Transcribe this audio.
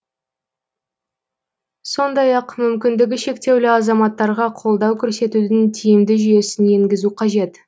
сондай ақ мүмкіндігі шектеулі азаматтарға қолдау көрсетудің тиімді жүйесін енгізу қажет